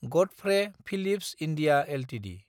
Godfrey Phillips India Ltd